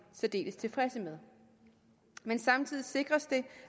særdeles tilfredse med men samtidig sikres det